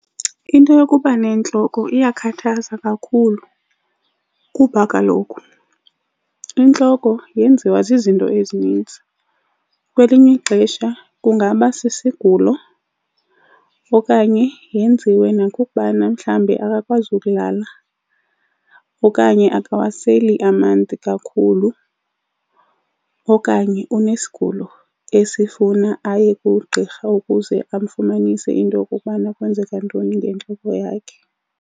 Into yokuba nentloko iyakhathaza kakhulu kuba kaloku intloko yenziwa zizinto ezininzi. Kwelinye ixesha kungaba sisigulo okanye yenziwe nakukubana mhlawumbi akakwazi ukulala okanye akawaseli amanzi kakhulu, okanye unesigulo esifuna aye kugqirha ukuze amfumanise into yokokubana kwenzeka ntoni ngentloko yakhe.